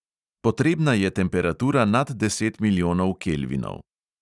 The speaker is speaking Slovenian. Potrebna je temperatura nad deset milijonov kelvinov.